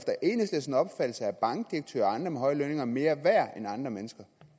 bankdirektører og andre med høje lønninger mere værd end andre mennesker